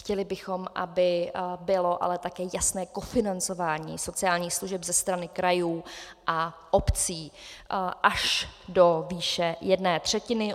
Chtěli bychom, aby bylo ale taky jasné kofinancování sociálních služeb ze strany krajů a obcí až do výše jedné třetiny.